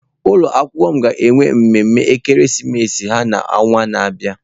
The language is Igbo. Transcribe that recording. Ụlọ akwụkwọ m ga-eme mmeme ekeresimesi ha n'ọnwa na-abịa.